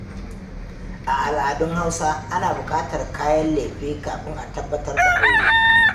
A al'adun Hausa, ana bukatar kayan lefe kafin a tabbatar da aure.